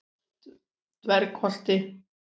Dvergholti